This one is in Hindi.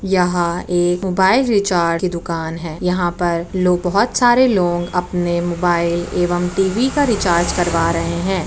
यहां एक मोबाइल रिचार्ज की दुकान है यहां पर लोग बहुत सारे लोग अपने मोबाइल एवं टी.वी. का रिचार्ज करवा रहे हैं।